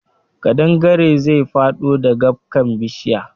Ƙadangaren zai faɗo dagabkan bishiya